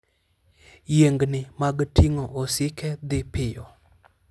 Yiengni mag ting'o osike dhi piyo.